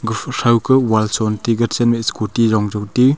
guthru throu ku wall shonti gete chenmae scooty yong touti.